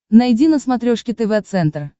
найди на смотрешке тв центр